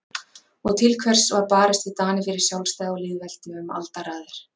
Og til hvers var barist við Dani fyrir sjálfstæði og lýðveldi um aldaraðir?